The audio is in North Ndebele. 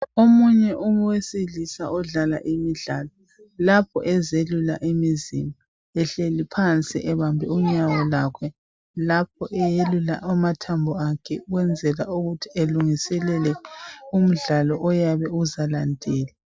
Omunye umuntu owesilisa odlala imidlalo lapho ezelula imizimba ehleli phansi ebambe unyawo lwakhe lapho eyelula amathambo akhe ukwenzela ukuthi elungiselele umdlalo oyabe uzalandela.